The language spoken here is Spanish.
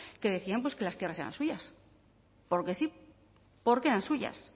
que decíamos que las tierras eran suyas porque sí porque eran suyas